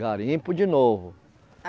Garimpo de Novo.